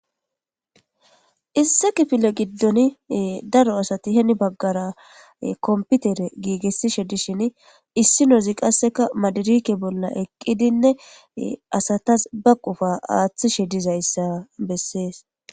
Issi kifile giddon daro asati heni baggara kompitere giigisishe dishin issinozi qasseka madirike bolla eqqidinne asatas be qofa aaththishe dizayssa besses.